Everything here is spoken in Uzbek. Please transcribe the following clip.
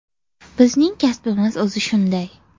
– Bizning kasbimiz o‘zi shunday.